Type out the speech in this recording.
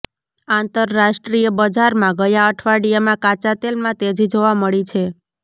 આંતરરાષ્ટ્રીય બજારમાં ગયા અઠવાડિયામાં કાચા તેલમાં તેજી જોવા મળી છે